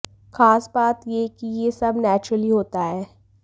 खास बात ये कि ये सब नेचुरली होता है